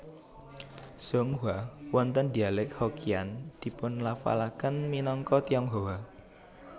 Zhonghua wonten dialek Hokkian dipunlafalaken minangka Tionghoa